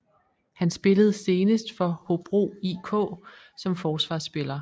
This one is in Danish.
Han spillede senest for Hobro IK som forsvarsspiller